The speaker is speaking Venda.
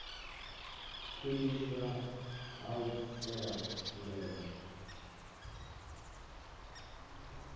khwiniswa ha u shela mulenzhe